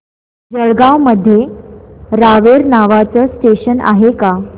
जळगाव मध्ये रावेर नावाचं स्टेशन आहे का